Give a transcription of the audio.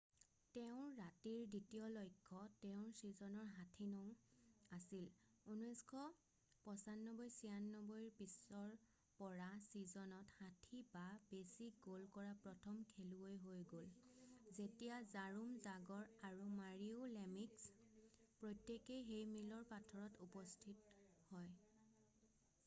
তেওঁৰ ৰাতিৰ দ্বিতীয় লক্ষ্য তেওঁৰ চিজনৰ 60নং আছিল 1995-96ৰ পিছৰ পৰা চিজনত 60 বা বেছি গ'ল কৰা প্ৰথম খেলুৱৈ হৈ গ'ল যেতিয়া জৰোম জাগৰ আৰু মাৰীও লেমিক্স প্ৰত্যেকেই সেই মিলৰ পাথৰত উপস্থিত হয়।